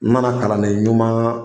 N nana kalanden ɲuman